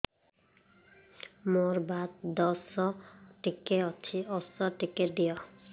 ମୋର୍ ବାତ ଦୋଷ ଟିକେ ଅଛି ଔଷଧ ଟିକେ ଦିଅ